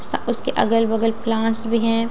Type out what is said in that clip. उसके अगल बगल प्लांट्स भी हैं।